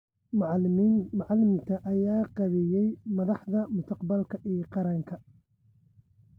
Macalimiinta ayaa qaabeeya madaxda mustaqbalka ee qaranka.